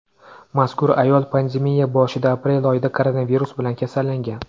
Mazkur ayol pandemiya boshida aprel oyida koronavirus bilan kasallangan.